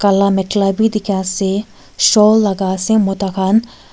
la mekhala beh teki ase shawl laga ase mota kan.